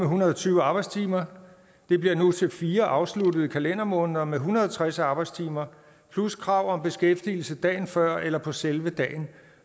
hundrede og tyve arbejdstimer bliver nu til fire afsluttede kalendermåneder med en hundrede og tres arbejdstimer plus krav om beskæftigelse dagen før eller på selve dagen